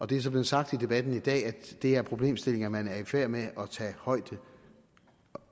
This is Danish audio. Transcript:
det er så blevet sagt i debatten i dag at det er problemstillinger man er i færd med at tage højde